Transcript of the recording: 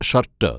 shirt